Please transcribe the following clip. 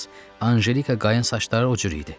Anjelikanın saçları o cür idi.